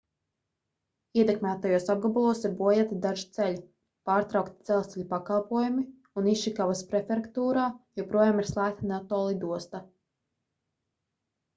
ietekmētajos apgabalos ir bojāti daži ceļi pārtraukti dzelzceļa pakalpojumi un išikavas prefektūrā joprojām ir slēgta noto lidosta